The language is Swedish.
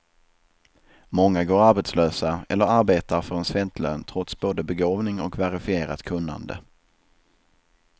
Många går arbetslösa, eller arbetar för en svältlön trots både begåvning och verifierat kunnande.